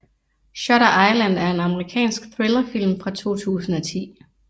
Shutter Island er en amerikansk thrillerfilm fra 2010